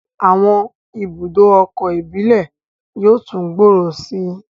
Àwọn ibùdó ọkọ̀ íbìlẹ̀ yóò tún gbòòrò sí i